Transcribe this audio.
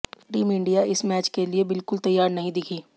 team India इस match के लिए बिलकुल तैयार नहीं दिखी